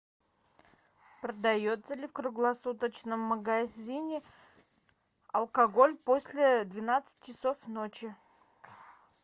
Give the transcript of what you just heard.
продается ли в круглосуточном магазине алкоголь после двенадцати часов ночи